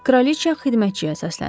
Kraliçə xidmətçiyə səsləndi.